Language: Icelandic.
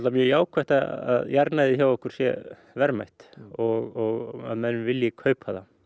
mjög jákvætt að jarðnæði hjá okkur sé verðmætt og að menn vilji kaupa það